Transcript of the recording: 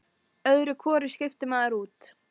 Öðru hvoru skiptir maður út.